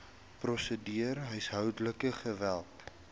prosedure huishoudelike geweld